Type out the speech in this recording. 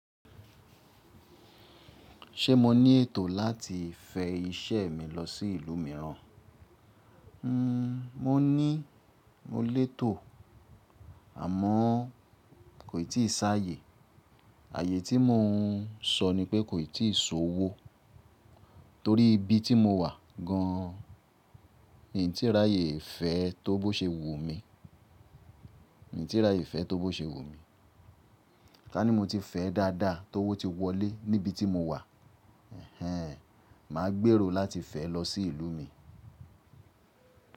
Ṣé mo ní ètò láti fẹ iṣẹ́ mi lọ sí ìlú mìíràn? Hmm, mo ní mo lè tò, àmọ́ kòtisi áyè. Ààyè tí mo n sọ ni pé kò tí si owó. Torí ibi tí mo wà gan, mi tíì ráàyè fẹ́ tó bó ṣe wu mi, mi ò tíì ráàyè fẹ́ tó bó ṣe wu mi. Tá ní mo ti fẹ́ dáadáa ti o wó ti wọlé níbi tí mo wà, ehn, màá gbèrò láti fẹ́ lọ sí ìlú mi.